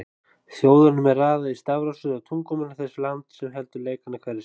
Þjóðunum er raðað í stafrófsröð á tungumáli þess lands sem heldur leikana hverju sinni.